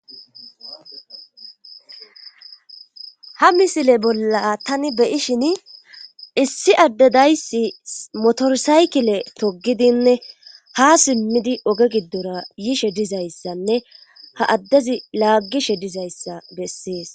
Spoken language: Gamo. ha misile bolla tani beyishin issi addedayssi motorsaykile togidinne ha simmidi oge giddora yishe dizayssanne ha addezi laaggishe dizayssa bessees